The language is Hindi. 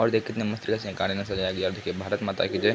और देख कितने मस्त तरह से गाड़ी ने सजाया गया है और देखिये भारत माता की जय।